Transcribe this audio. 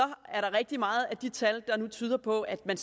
rigtig meget i de tal der nu tyder på at man